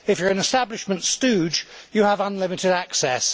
If you are an establishment stooge, you have unlimited access.